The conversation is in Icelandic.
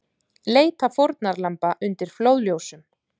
Leita fórnarlamba undir flóðljósum